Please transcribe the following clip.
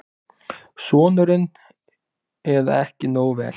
Sonurinn: Eða ekki nógu vel.